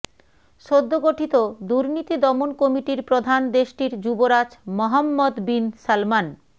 সদ্য গঠিত দুর্নীতি দমন কমিটির প্রধান দেশটির যুবরাজ মোহাম্মদ বিন সালমান